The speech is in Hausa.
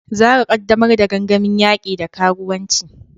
Zarah, ƙaddamar da gangamin yaki da karuwanci.